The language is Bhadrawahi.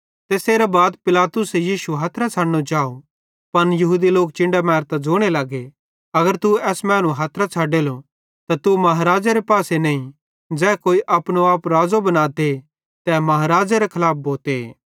तैसेरां बाद पिलातुसे यीशु हथरां छ़डनो चाव पन यहूदी लोक चिन्डां मेरतां ज़ोने लगे अगर तू एस मैनू हथरां छ़ाडेलो त तू महाराज़ेरे पासे नईं ज़ै कोई अपनो आप राज़ो बनाते तै महाराज़ेरे खलाफ भोते